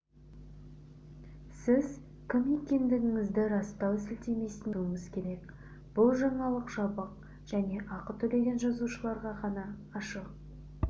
сіз кім екендігіңізді растау сілтемесіне өтуіңіз керек бұл жаңалық жабық және ақы төлеген жазылушыларға ғана ашық